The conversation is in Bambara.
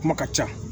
Kuma ka ca